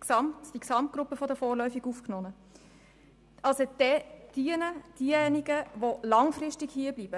gesamten Gruppe der vorläufig Aufgenommenen die Rede, von denjenigen, die langfristig hier bleiben.